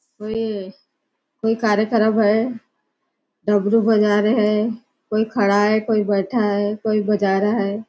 कोई कोई कार्यक्रम है डमरू बजा रहे है कोई खड़ा है कोई बैठा है कोई बजा रहा है।